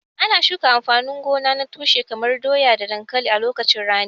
Ana girbe amfanin gona na tushe kamar doya da dankalin a lokacin rani.